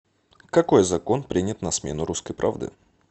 какой закон принят на смену русской правды